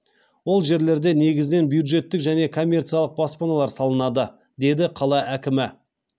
ол жерлерде негізінен бюджеттік және коммерциялық баспаналар салынады деді қала әкімі